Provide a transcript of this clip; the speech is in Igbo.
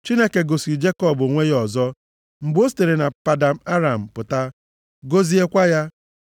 Chineke gosiri Jekọb onwe ya ọzọ, mgbe o sitere na Padan Aram pụta, gọziekwa ya.